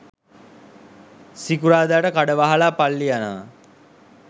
සිකුරාදට කඩ වහලා පල්ලි යනවා.